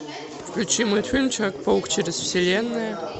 включи мультфильм человек паук через вселенные